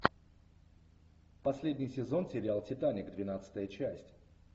последний сезон сериал титаник двенадцатая часть